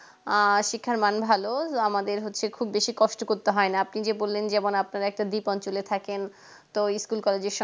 আ শিক্ষার মান ভালো আমাদের হচ্ছে খুব বেশি কষ্ট করতে হয় না আপনি যে বললেন যেমন আপনারা একটা দ্বীপ অঞ্চলে থাকেন তো school college এর সামনে